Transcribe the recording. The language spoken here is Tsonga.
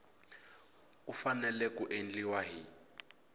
ku fanele ku endliwa hi